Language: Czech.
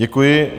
Děkuji.